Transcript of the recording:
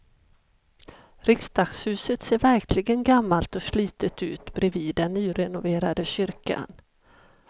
Riksdagshuset ser verkligen gammalt och slitet ut bredvid den nyrenoverade kyrkan.